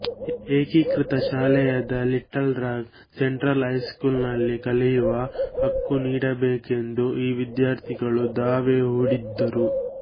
ಏಕೀಕೃತ ಶಾಲೆಯಾದ Little Rock Central high school ನಲ್ಲಿ ಕಲಿಯುವ ಹಕ್ಕು ನೀಡಬೇಕೆಂದು ಈ ವಿದ್ಯಾರ್ಥಿಗಳು ದಾವೆ ಹೂಡಿದ್ದರು